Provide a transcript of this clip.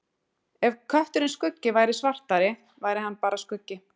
Ef kötturinn Skuggi væri svartari væri hann bara skuggi.